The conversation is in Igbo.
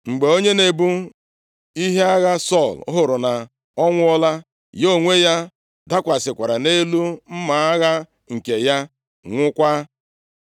Mgbe onye na-ebu ihe agha Sọl hụrụ na ọ nwụọla, ya onwe ya dakwasịkwara nʼelu mma agha nke ya, nwụọkwa.